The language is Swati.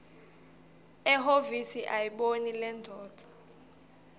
ehhovisi ayibone lendvodza